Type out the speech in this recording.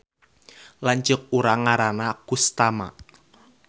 Lanceuk urang ngaranna Kustama